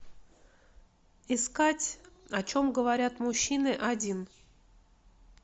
искать о чем говорят мужчины один